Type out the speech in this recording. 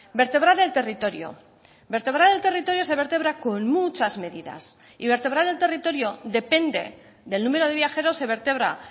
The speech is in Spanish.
vertebrar el territorio vertebrar el territorio se vertebra con muchas medidas y vertebrar el territorio depende del número de viajeros se vertebra